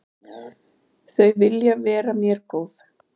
Þau vilja vera mér góð.